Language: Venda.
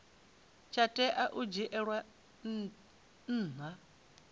tsha tea u dzhielwa nha